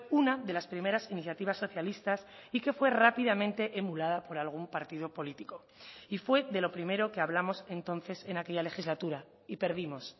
una de las primeras iniciativas socialistas y que fue rápidamente emulada por algún partido político y fue de lo primero que hablamos entonces en aquella legislatura y perdimos